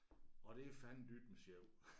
Og det er fandendytme sjov